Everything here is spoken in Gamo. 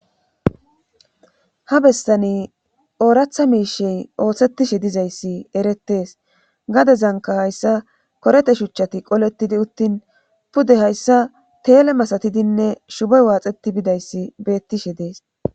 Ha bestani ooratha miishey oohsettishe dizayssi erettees gade zanka hayssa korete shuchchati qoletidi uttin pude hayssa teele masatidinne shubey waaxeti bidayssi beettishe dees